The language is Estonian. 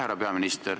Härra peaminister!